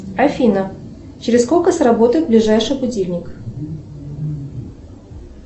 афина через сколько сработает ближайший будильник